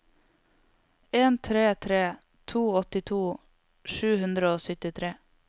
en tre tre to åttito sju hundre og syttitre